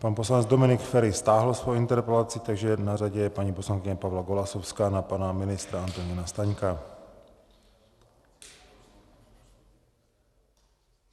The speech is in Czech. Pan poslanec Dominik Feri stáhl svoji interpelaci, takže na řadě je paní poslankyně Pavla Golasowská na pana ministra Antonína Staňka.